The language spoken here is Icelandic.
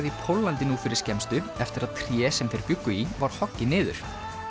í Póllandi nú fyrir skemmstu eftir að tré sem þeir bjuggu í var hoggið niður